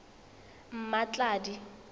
mmatladi